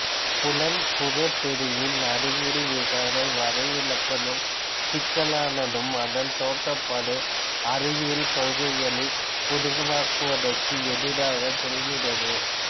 புலன் புறத்தெரிவின் அறிவியல் விசாரனை வரைவிலக்கணம் சிக்கல்லானதும் அதன் தோற்றப்பாடு அறிவியல் கொள்கைகளை உருவாக்குவதற்கு எதிராகச் செல்கிறது